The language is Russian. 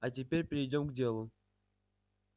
а теперь перейдём к делу